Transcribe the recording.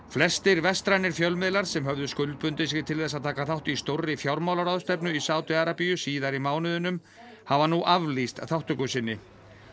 flestir vestrænir fjölmiðlar sem höfðu skuldbundið sig til þess að taka þátt í stórri fjármálaráðstefnu í Sádi Arabíu síðar í mánuðinum hafa nú aflýst þátttöku sinni